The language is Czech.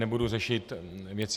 Nebudu řešit věci.